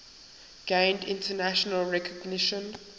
gained international recognition